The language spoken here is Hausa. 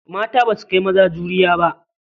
Mata ba su kai maza juriya ba.